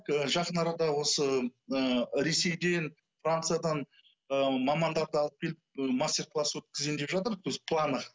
жақын арада осы ы ресейден франциядан ы мамандарды алып келіп і мастер класс өткізейін деп жатыр то есть в планах